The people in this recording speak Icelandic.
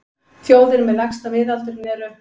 Þjóðir með lægsta miðaldurinn eru: